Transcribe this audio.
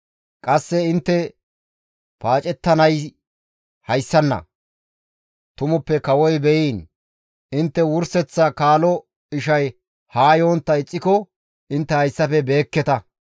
Qasse intte paacettanay hayssana; tumuppe kawoy beyiin! Intte wurseththa kaalo ishay haa yontta ixxiko intte hayssafe beekketa.